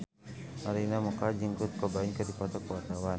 Arina Mocca jeung Kurt Cobain keur dipoto ku wartawan